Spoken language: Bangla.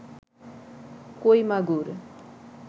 কই মাগুর